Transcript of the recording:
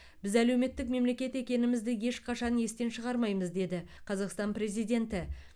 біз әлеуметтік мемлекет екенімізді ешқашан естен шығармаймыз деді қазақстан президенті